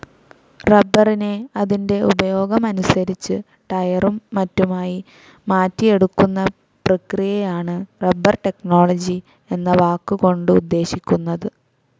റബ്ബറിനെ അതിന്റെ ഉപയോഗം അനുസരിച്ച് ടയറും മറ്റുമായി മാറ്റിയെടുക്കുന്ന പ്രക്രിയയെയാണ്‌ റബ്ബർ ടെക്നോളജി എന്ന വാക്കു കൊണ്ടുദ്ദേശിക്കുന്നത്.